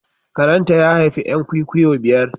Karen ta, ya haifi 'yan kwikwiyo biyar.